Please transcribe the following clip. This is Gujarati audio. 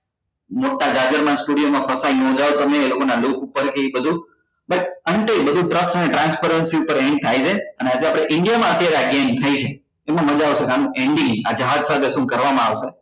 મોટા નાં studio માં એ લોકો નાં દુખ ઉપર થી બધું પણ અંતે બધું trust and transparency પર end થાય છે અને આજે આપડે india અત્યારે આ game થઇ છે એમાં મજા આવશે કેમ કે end એ આ જહાજ સાથે શું કરવા માં આવશે